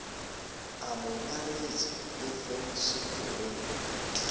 a mo nyaretse le fensetereng